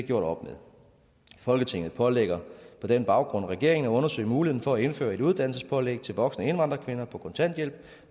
gjort op med folketinget pålægger på den baggrund regeringen at undersøge muligheden for at indføre et uddannelsespålæg til voksne indvandrerkvinder på kontanthjælp